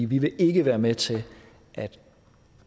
vi vil ikke være med til at